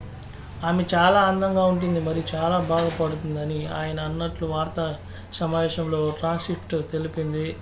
"""ఆమె చాలా అందంగా ఉంటుంది మరియు చాలా బాగా పాడుతుంది" అని ఆయన అన్నట్లు వార్తా సమావేశంలో ఓ ట్రాన్స్క్రిప్టు తెలిపింది.